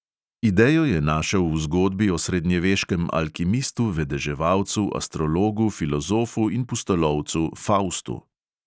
Idejo je našel v zgodbi o srednjeveškem alkimistu, vedeževalcu, astrologu, filozofu in pustolovcu faustu.